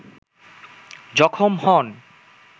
জখম হন